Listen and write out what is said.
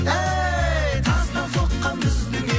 тастан соққан біздің үй